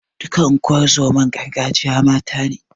Duka unguwar zoman gargajiya mata ne.